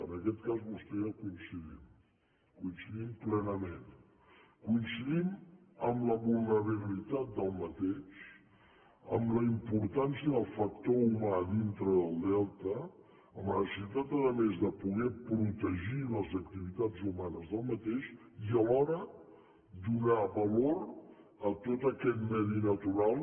en aquest cas vostè i jo coinci·dim coincidim plenament coincidim en la vulnerabi·litat d’aquest en la importància del factor humà dintre del delta en la necessitat a més de poder protegir les activitats humanes d’aquest i alhora donar valor a tot aquest medi natural